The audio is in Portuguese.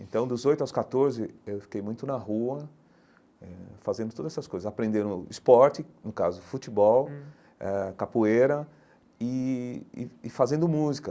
Então dos oito aos catorze eu fiquei muito na rua eh fazendo todas essas coisas, aprendendo esporte, no caso futebol, eh capoeira e e e fazendo música.